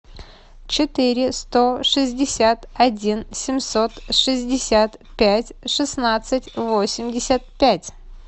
четыре сто шестьдесят один семьсот шестьдесят пять шестнадцать восемьдесят пять